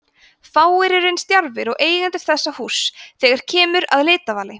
fáir eru eins djarfir og eigendur þessa húss þegar kemur að litavali